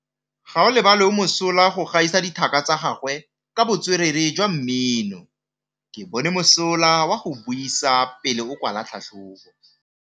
Gaolebalwe o mosola go gaisa dithaka tsa gagwe ka botswerere jwa mmino. Ke bone mosola wa go buisa pele o kwala tlhatlhobô.